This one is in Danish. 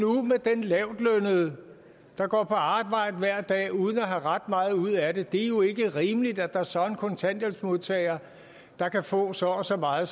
med den der går på arbejde hver dag uden at have ret meget ud af det det er jo ikke rimeligt at der så er en kontanthjælpsmodtager der kan få så og så meget